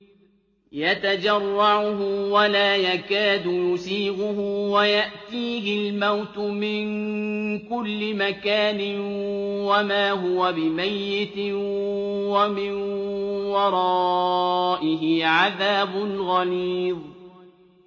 يَتَجَرَّعُهُ وَلَا يَكَادُ يُسِيغُهُ وَيَأْتِيهِ الْمَوْتُ مِن كُلِّ مَكَانٍ وَمَا هُوَ بِمَيِّتٍ ۖ وَمِن وَرَائِهِ عَذَابٌ غَلِيظٌ